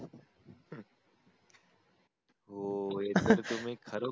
हो हे तर तुम्ही खर